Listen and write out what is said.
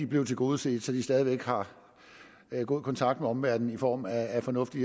blev tilgodeset så de stadig væk har god kontakt med omverdenen i form af fornuftig